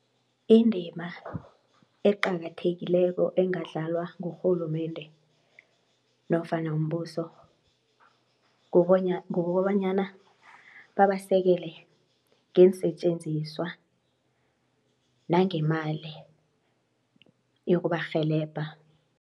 Indima eqakathekileko engadlalwa ngurhulumende nofana mbuso kukobanyana babasekele ngeensetjenziswa nangemali yokubarhelebha.